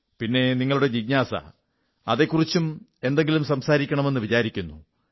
പിന്നെ നിങ്ങളുടെ ജിജ്ഞാസ അതെക്കുറിച്ചും എന്നെങ്കിലും സംസാരിക്കണമെന്ന് വിചാരിക്കുന്നു